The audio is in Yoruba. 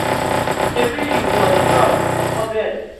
ṣebí ìwo yìí náà ló kọ́kọ́ bẹ̀rẹ̀